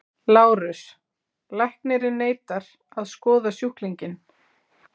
LÁRUS: Læknirinn neitar að skoða sjúklinginn.